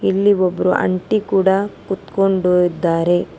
ಇಲ್ಲಿ ಒಬ್ಬರು ಆಂಟಿ ಕೂಡ ಕುತ್ಕೊಂಡು ಇದ್ದಾರೆ.